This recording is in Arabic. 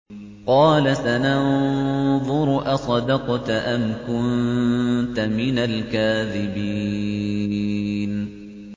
۞ قَالَ سَنَنظُرُ أَصَدَقْتَ أَمْ كُنتَ مِنَ الْكَاذِبِينَ